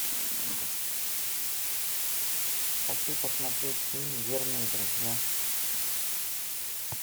хочу посмотреть фильм верные друзья